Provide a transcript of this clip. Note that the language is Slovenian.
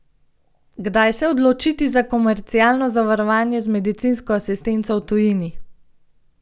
Kdaj se odločiti za komercialno zavarovanje z medicinsko asistenco v tujini?